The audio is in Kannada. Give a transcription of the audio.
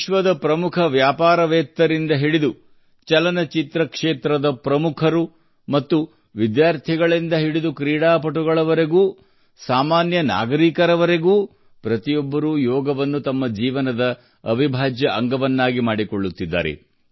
ವಿಶ್ವದ ಪ್ರಮುಖ ವ್ಯಾಪಾರವೇತ್ತರಿಂದ ಹಿಡಿದು ಚಲನಚಿತ್ರ ಕ್ಷೇತ್ರದ ಪ್ರಮುಖರು ಮತ್ತು ಕ್ರೀಡಾ ಪಟುಗಳವರೆಗೂ ವಿದ್ಯಾರ್ಥಿಗಳಿಂದ ಹಿಡಿದು ಸಾಮಾನ್ಯ ನಾಗರಿಕನವರೆಗೂ ಪ್ರತಿಯೊಬ್ಬರೂ ಯೋಗವನ್ನು ತಮ್ಮ ಜೀವನದ ಅವಿಭಾಜ್ಯ ಅಂಗವನ್ನಾಗಿ ಮಾಡಿಕೊಳ್ಳುತ್ತಿದ್ದಾರೆ